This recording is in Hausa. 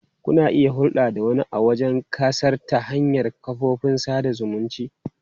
Kuna iya hulɗa da wani a wajen ƙasar ta hanyar kafofin sada zumunci.